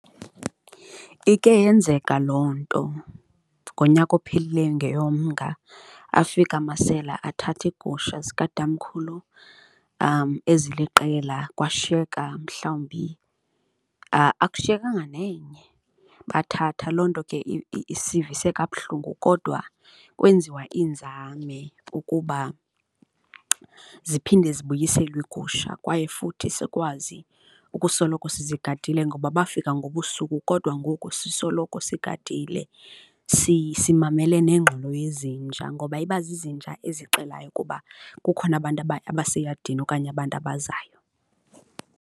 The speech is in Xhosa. Ike yenzeka loo nto ngonyaka ophilileyo ngeyoMnga, afika amasela athatha iigusha zikatamkhulu eziliqela kwashiyeka mhlawumbi akushiyekanga nenye, bathatha. Loo nto ke isivise kabuhlungu kodwa kwenziwa iinzame ukuba ziphinde zibuyiselwe iigusha kwaye futhi sikwazi ukusoloko sizigadile ngoba bafika ngobusuku kodwa ngoku sisoloko sigadile, simamele nengxolo yezinja ngoba iba zizinja ezixelayo ukuba kukhona abantu abaseyadini okanye abantu abazayo.